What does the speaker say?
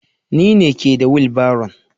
Ni me ke da wilbaron.